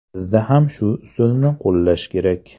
Bizda ham shu usulni qo‘llash kerak.